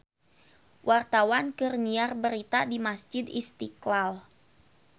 Wartawan keur nyiar berita di Masjid Istiqlal